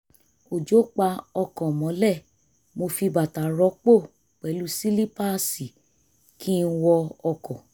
òjò pa ọkọ̀ mọ́lẹ̀ mo fi bàtà rọpò pẹ̀lú sílípáàsì kí n wọ ọkọ̀